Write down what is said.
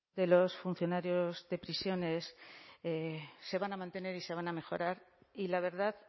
de los funcionarios de prisiones se van a mantener y se van a mejorar y la verdad